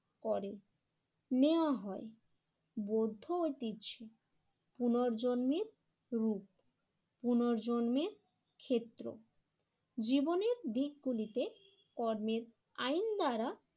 করে নেওয়া হয়। বৌদ্ধ ঐতিহ্য পুনর্জন্মের রূপ পুনর্জন্মের ক্ষেত্র জীবনের দিক গুলিতে কর্মের আইন দ্বারা